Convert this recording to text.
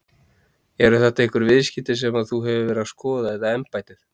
Eru þetta einhver viðskipti sem að þú hefur verið að skoða eða embættið?